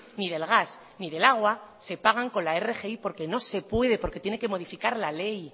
ni del gas ni del agua se pagan con la rgi porque no se puede porque tiene que modificar la ley